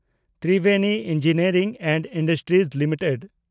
Triveni engineering and industries limited